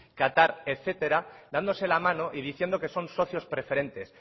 qatar etcétera dándose la mano y diciendo que son socios preferentes